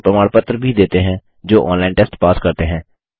उनको प्रमाणपत्र भी देते हैं जो ऑनलाइन टेस्ट पास करते हैं